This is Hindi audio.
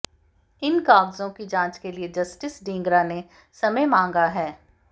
इन कागजों की जांच के लिए जस्टिस ढींगरा ने समय मांगा है